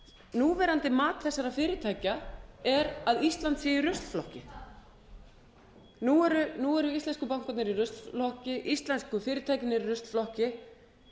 núverandi mat þessara fyrirtækja er að ísland sé í ruslflokki nú eru íslensku bankarnir í ruslflokki íslensku fyrirtækin eru í ruslflokki